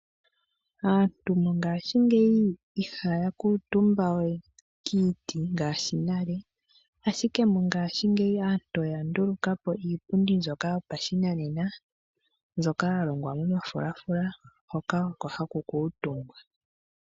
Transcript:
Aantu mongaashingeyi ihaya kuutumba we kiiti ngaashi nale. Ashike mongaashingeyi aantu oya ndulukapo iipundi mbyoka yopashinanena, mbyoka ya longwa momafulafula, hoka oko haku kuutumbwa.